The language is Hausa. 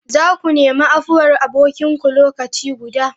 Za ku nemi afuwar abokinku lokaci guda!